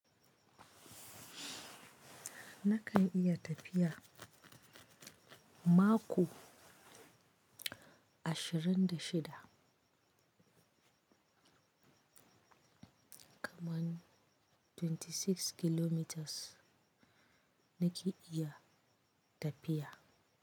Nakan iya tafiya mako ashirin da shida. Kaman 26 kilometers nake iya tafiya.